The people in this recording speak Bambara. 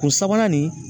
U sabanan nin